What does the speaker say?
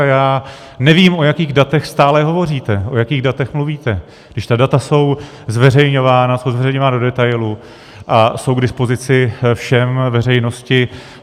A já nevím, o jakých datech stále hovoříte, o jakých datech mluvíte, když ta data jsou zveřejňována, jsou zveřejňována do detailu a jsou k dispozici všem, veřejnosti.